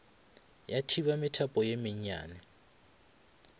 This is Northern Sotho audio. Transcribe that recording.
ya thiba methapo ye mennyane